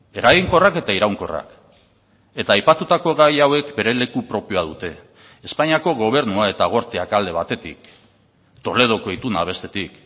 eraginkorrak eta iraunkorrak eta aipatutako gai hauek bere leku propioa dute espainiako gobernua eta gorteak alde batetik toledoko ituna bestetik